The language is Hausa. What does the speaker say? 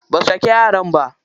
Basu daki yaran ba.